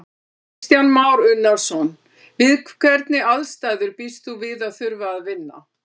Kristján Már Unnarson: Við hvernig aðstæður býst þú við að þurfa að vinna?